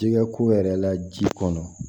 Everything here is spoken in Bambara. Jɛgɛ ko yɛrɛ la ji kɔnɔ